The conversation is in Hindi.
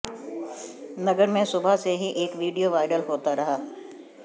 नगर में सुबह से ही एक वीडियो वायरल होता रहा